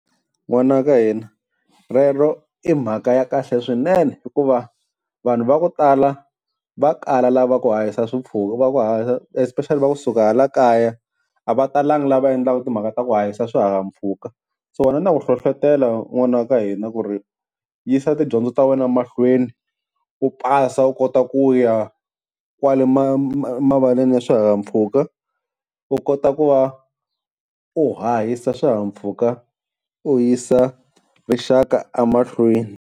N'wana wa ka hina rero i mhaka ya kahle swinene, hikuva vanhu va ku tala va kala lava ku hahisa va ku especially va kusuka hala kaya a va talanga lava endlaka timhaka ta ku hahisa swihahampfhuka. So wena na ku hlohlotelo n'wana wa ka hina ku ri yisa tidyondzo ta wena mahlweni u pasa, u kota ku ya kwale mavaleni ya swihahampfhuka u kota ku va u hahisa swihahampfhuka u yisa rixaka emahlweni.